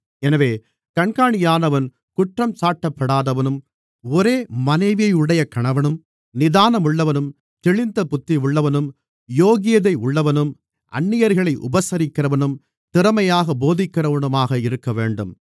எனவே கண்காணியானவன் குற்றஞ்சாட்டப்படாதவனும் ஒரே மனைவியையுடைய கணவனும் நிதானமுள்ளவனும் தெளிந்த புத்தி உள்ளவனும் யோக்கியதை உள்ளவனும் அந்நியர்களை உபசரிக்கிறவனும் திறமையாகப் போதிக்கிறவனுமாக இருக்கவேண்டும்